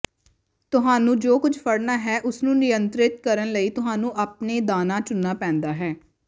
ਤੁਹਾਨੂੰ ਜੋ ਕੁਝ ਫੜਨਾ ਹੈ ਉਸਨੂੰ ਨਿਯੰਤਰਿਤ ਕਰਨ ਲਈ ਤੁਹਾਨੂੰ ਆਪਣੇ ਦਾਣਾ ਚੁਣਨਾ ਪੈਂਦਾ ਹੈ